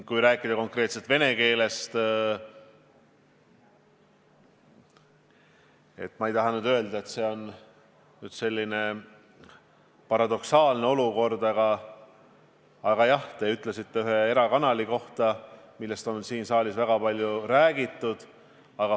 Kui rääkida konkreetselt vene keelest, siis ma ei taha öelda, et see on selline paradoksaalne olukord, aga jah, te nimetasite ühte erakanalit, millest siin saalis on väga palju räägitud.